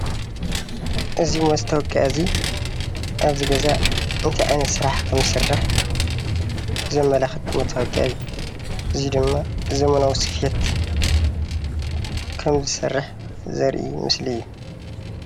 እዚ ማስታወቅያ እዙይ ኣብዚ ገዛ እንታይ ዓይነት ስራሕ ኸም ዝስራሕ ዘመላኽት መታወቂያ እዩ። እዙይ ድማ ዘመናዊ ሰፌት ከም ዝሰርሕ ዘርኢ ምስሊ እዩ።